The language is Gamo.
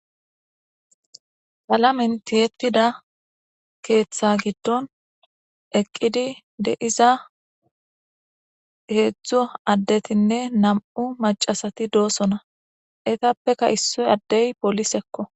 Palamenti yettida keeththa giddon eqqidi de iza heedzdzo addetinne nam'u macasati doosona etappeka issoy addey polisekko.